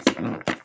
er þetta?